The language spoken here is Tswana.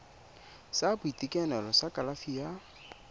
sa boitekanelo sa kalafi ya